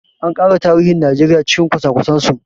A ƙara tarihin Najeriya cikin kwasa kwasen su!